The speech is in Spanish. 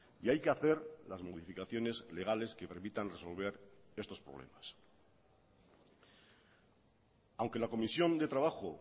y hay que hacer las modificaciones legales que permitan resolver estos problemas aunque la comisión de trabajo